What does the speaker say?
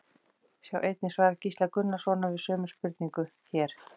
Sjá einnig svar Gísla Gunnarssonar við sömu spurningu, hér.